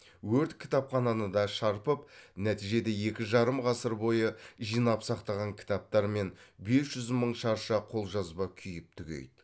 өрт кітапхананы да шарпып нәтижеде екі жарым ғасыр бойы жинап сақтаған кітаптар мен бес жүз мың шарша қолжазба күйіп түгейді